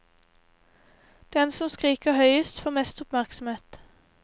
Den som skriker høyest får mest oppmerksomhet.